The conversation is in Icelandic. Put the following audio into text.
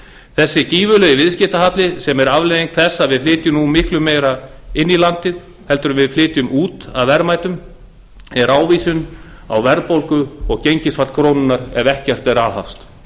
þessi gífurlegi viðskiptahalli sem er afleiðing þess að við flytjum nú miklu meira inn í landið en við flytjum út af verðmætum er ávísun verðbólgu og gengisfall krónunnar ef ekkert er aðhafst